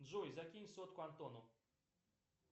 джой закинь сотку антону